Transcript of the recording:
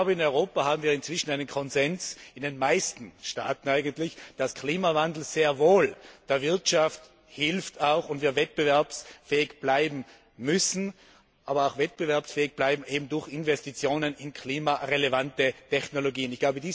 In Europa haben wir inzwischen in den meisten Staaten einen Konsens, dass Klimawandel sehr wohl der Wirtschaft hilft und wir wettbewerbsfähig bleiben müssen, aber auch wettbewerbsfähig bleiben eben durch Investitionen in klimarelevante Technologien.